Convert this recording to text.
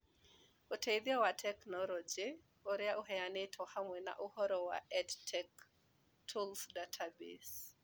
Ũteithio wa tekinoronjĩ ũrĩa ũheanĩtwo , hamwe na ũhoro wa EdTech Tools Database